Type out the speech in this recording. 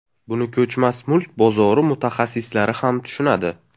Buni ko‘chmas mulk bozori mutaxassislari ham tushunadi.